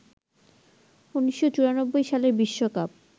১৯৯৪ সালের বিশ্বকাপ